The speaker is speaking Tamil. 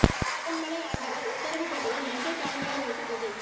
சிவன்மலை ஆண்டவர் உத்தரவுப் பெட்டியில் மஞ்சள் தாலி கயிறு வைத்து பூஜை